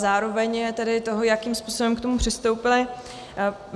Zároveň i toho, jakým způsobem k tomu přistoupili.